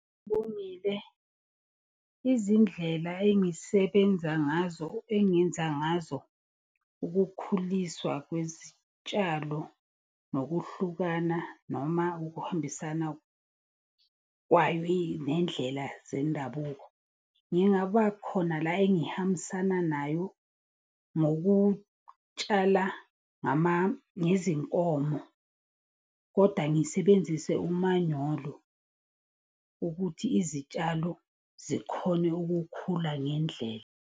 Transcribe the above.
Izindlela engisebenza ngazo engenza ngazo ukukhuliswa kwezitshalo, nokuhlukana noma ukuhambisana nendlela zendabuko. Ngingaba khona la engihambisana nayo ngokutshala ngezinkomo koda ngisebenzise umanyolo. Ukuthi izitshalo zikhone ukukhula ngendlela.